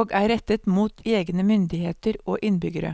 og er rettet mot egne myndigheter og innbyggere.